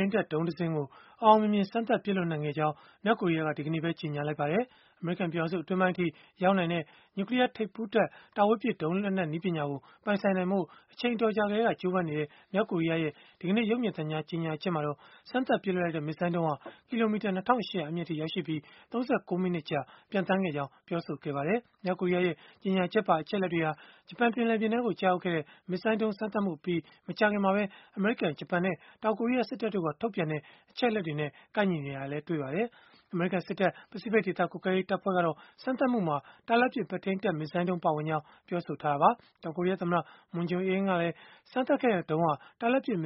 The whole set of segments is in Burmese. န်းတပ်ဒုံးတစင်းကို အောင်အောင်မြင်မြင် စမ်းသပ်ပစ်လွှတ်နိုင် ခဲ့ကြောင်း မြောက်ကိုရီးယားက ဒီကနေ့ပဲ ကြေညာလိုက်ပါတယ်။ အမေရိကန် ပြည်ထောင်စု အတွင်းပိုင်းအထိ ရောက်နိုင်တဲ့ နျူကလီးယားထိပ်ဖူးတပ် တာဝေးပစ်ဒုံးလက်နက် နည်းပညာကို ပိုင်ဆိုင်နိုင်ဖို့ အချိန်အတော်ကြာကတည်းက ကြိုးပမ်းနေတဲ့ မြောက်ကိုရီးယားရဲ့ ဒီကနေ့ ရုပ်မြင်သံကြား ကြေညာချက်မှာတော့ စမ်းသပ်ပစ်လွှတ်လိုက်တဲ့ မစ်ဇိုင်းဒုံးဟာ ကီလိုမီတာ ၂၈၀၀ အမြင့်အထိ ရောက်ရှိခဲ့ပြီး၊ ၃၉ မိနစ်ကြာ ပျံသန်းခဲ့ကြောင်း ပြောဆိုခဲ့ပါတယ်။ မြောက်ကိုရီးယားရဲ့ ကြေညာချက်ပါ အချက်အလက်တွေဟာ၊ ဂျပန်ပင်လယ်ပြင်ထဲကို ကျရောက်ခဲ့တဲ့ မစ်ဇိုင်းဒုံးစမ်းသပ်မှုအပြီး မကြာခင်မှာပဲ အမေရိကန်၊ ဂျပန်နဲ့ တောင်ကိုရီးယား စစ်တပ်တို့က ထုတ်ပြန်တဲ့ အချက်အလက်တွေနဲ့ ကိုက်ညီနေတာလည်း တွေ့ရပါတယ်။ အမေရိကန်စစ်တပ် ပစိဖိတ်ဒေသ ကွပ်ကဲရေးတပ်ဖွဲ့ကတော့ စမ်းသပ်မှုမှာ၊ တာလတ်ပစ် ပဲ့ထိန်းတပ်မစ်ဇိုင်းဒုံး ပါဝင်ကြောင်း ပြောဆိုခဲ့တာပါ။ တောင်ကိုရီးယားသမ္မတ Moon Jae-in ကလည်း စမ်းသပ်ခဲ့တဲ့ဒုံးဟာ တာလတ်ပစ်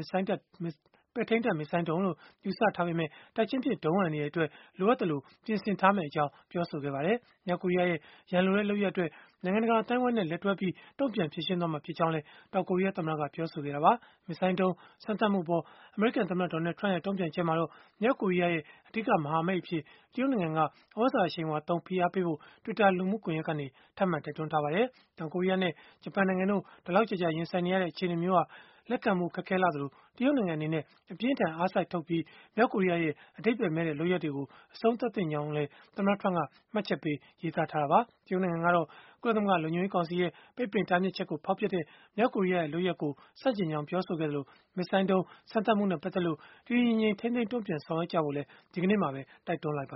ပဲ့ထိန်းတပ်မစ်ဇိုင်းဒုံးလို့ ယူဆထားပေမဲ့ တိုက်ချင်းပစ်ဒုံး အန္တရာယ်အတွက် လိုအပ်သလို ပြင်ဆင်ထားမယ့်အကြောင်း ပြောဆိုခဲ့ပါတယ်။ မြောက်ကိုရီးယားရဲ့ ရန်လိုတဲ့ လုပ်ရပ်အတွက် နိုင်ငံတကာ အသိုင်းအဝန်းနဲ့ လက်တွဲပြီး တုံ့ပြန်ဖြေရှင်းသွားမှာ ဖြစ်ကြောင်းလည်း တောင်ကိုရီးယား သမ္မတက ပြောဆိုခဲ့တာပါ။ မစ်ဇိုင်းဒုံး စမ်းသပ်မှုအပေါ် အမေရိကန်သမ္မတ Donald Trump ရဲ့ တုံ့ပြန်ချက်မှာတော့၊ မြောက်ကိုရီးယားရဲ့ အဓိကမဟာမိတ်အဖြစ် တရုတ်နိုင်ငံက သြဇာအရှိန်အဝါသုံး ဖိအားပေးဖို့ Twitter လူမှုကွန်ယက်ကနေ ထပ်မံတိုက်တွန်းထားပါတယ်။ တောင်ကိုရီးယားနဲ့ ဂျပန်နိုင်ငံတို့ ဒီလောက်ကြာကြာ ရင်ဆိုင်နေရတဲ့ အခြေအနေမျိုးဟာ လက်ခံဖို့ ခက်ခဲလှသလို၊ တရုတ်နိုင်ငံအနေနဲ့ အပြင်းအထန် အားစိုက်ထုတ်ပြီး၊ မြောက်ကိုရီးယားရဲ့ အဓိပ္ပါယ်မဲ့တဲ့ လုပ်ရပ်တွေကို အဆုံးသတ်သင့်ကြောင်း သမ္မတ Trump က မှတ်ချက်ပေး ရေးသားထားတာပါ။ တရုတ်နိုင်ငံကတော့ ကုလသမဂ္ဂ လုံခြုံရေးကောင်စီရဲ့ ပိတ်ပင်တားမြစ်ချက်ကို ဖောက်ဖျက်တဲ့ မြောက်ကိုရီးယားရဲ့ လုပ်ရပ်ကို ဆန့်ကျင်ကြောင်း ပြောဆိုခဲ့သလို၊ မစ်ဇိုင်ဒုံး စမ်းသပ်မှုနဲ့ ပတ်သက်လို့ တည်တည်ငြိမ်ငြိမ်၊ ထိန်းထိန်းသိမ်းသိမ်း တုံ့ပြန်ဆောင်ရွက်ကြဖို့လည်း ဒီကနေ့ပဲ တိုက်တွန်းလိုက်ပါ